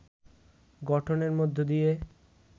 গঠনের মধ্য দিয়ে